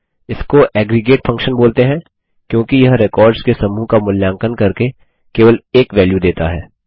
इसको aggregate function बोलते हैं क्योंकि यह रेकॉर्ड्स के समूह का मूल्यांकन करके केवल एक वेल्यू देता है